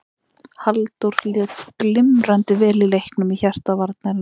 Halldór lék glimrandi vel í leiknum í hjarta varnarinnar.